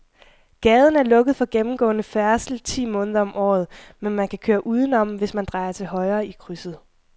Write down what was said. Gaden er lukket for gennemgående færdsel ti måneder om året, men man kan køre udenom, hvis man drejer til højre i krydset.